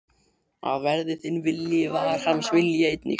Að verði þinn vilji, var hans vilji einnig.